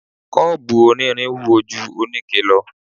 Kọ́ọ̀bù onírin wúwo ju oníke lọ